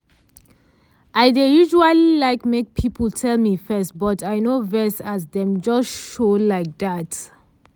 i dey usually like make person tell me first but i no vex as dem just show like dat.